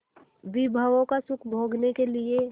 विभवों का सुख भोगने के लिए